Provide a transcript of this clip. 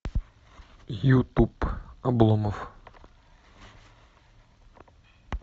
ютуб обломов